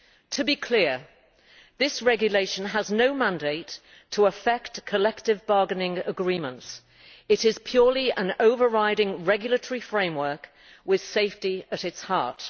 To be clear this regulation has no mandate to affect collective bargaining agreements. It is purely an overriding regulatory framework, with safety at its heart.